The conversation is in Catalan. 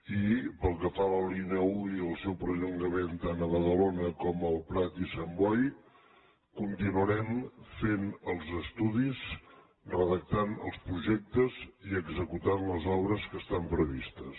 i pel que fa a la línia un i el seu perllongament tant a badalona com al prat i sant boi continuarem fent els estudis redactant els projectes i executant les obres que estan previstes